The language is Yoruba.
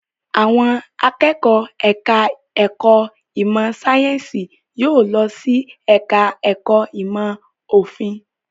Àwọn akẹ́kọ̀ọ́ ẹ̀ka-ẹ̀kọ́ ìmọ̀-sáyẹ́ńsì yóò lọ sí ẹ̀ka-ẹ̀kọ́ ìmọ̀-òfin.